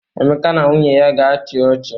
Emeka na nwunye ya ga-achị ọchị